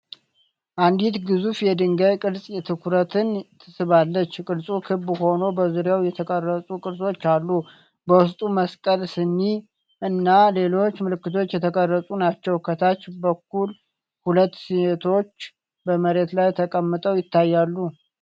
አንዲት ግዙፍ የድንጋይ ቅርጽ ትኩረትን ትስባለች። ቅርጹ ክብ ሆኖ በዙሪያው የተቀረጹ ቅርጾች አሉ። በውስጡ መስቀል፣ ስኒ እና ሌሎች ምልክቶች የተቀረጹ ናቸው። ከታች በኩል ሁለት ሴቶች በመሬት ላይ ተቀምጠው ይታያሉ፡፡